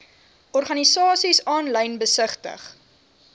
organisasies aanlyn besigtig